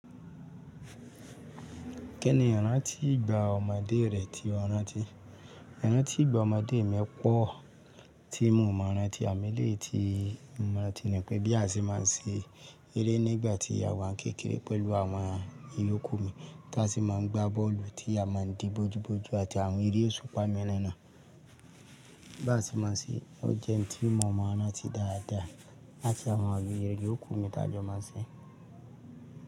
Kí ni ìrántí ìgbà ọmọdé rẹ ti ranti? Íranti ìgbà ọmọdé mi pọ̀ tí mo mọ̀ ọ́ ranti amọ eleyi tí mo rànti ni pé bí a ṣe má a ń ṣe eré nígbà tí àwa ni kékeré pẹ̀lú àwọn ìyókù mi tí a sì máa ń gbá bọ́ọ̀lù tí a má ń dí bójú bójú àti àwọn eré osúpà mííràn náà. Bí a ṣe má a ń ṣe, o jẹ́ ohun tí mo mọ̀ ọ́n ranti dáadáa láti àwọn iyokù mi tí a jọ má a ń ṣe.